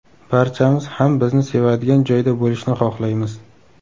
Barchamiz ham bizni sevadigan joyda bo‘lishni xohlaymiz.